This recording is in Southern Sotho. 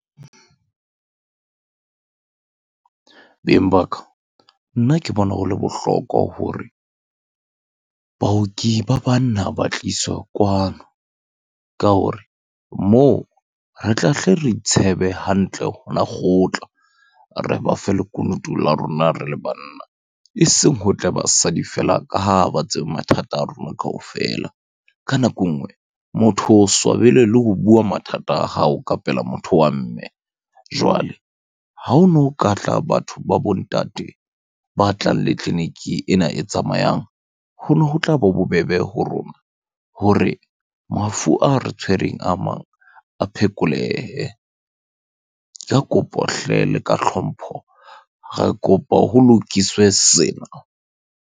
Beng ba ka, nna ke bona ho le bohlokwa hore baoki ba banna ba tliswa kwano ka hore moo re tla hle re itshebe hantle hona kgotla. Re ba fe lekunutu la rona re le banna. Eseng ho tle basadi feela, ka ha ba tseba mathata a rona kaofela. Ka nako e nngwe motho o swabele le ho bua mathata a hao ka pela motho wa mme. Jwale ha hono katla batho ba bo ntate, ba tlang le tleniki ena e tsamayang. Hono ho tlaba bobebe ho rona hore mafu a re tshwereng a mang, a phekolehe. Ke kopo hle le ka hlompho. Re kopa ho lokiswe sena.